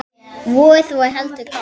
Vorið var heldur kalt.